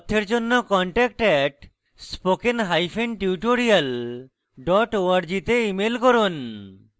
বিস্তারিত তথ্যের জন্য contact @spokentutorial org তে ইমেল করুন